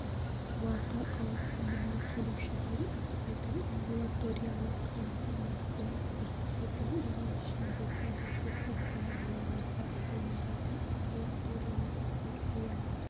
қуаты ауысымына келушіден аспайтын амбулаториялық-емханалық көмек көрсететін оның ішінде күндізгі стационарлары бар ұйымдарды амбулаториялық хирургия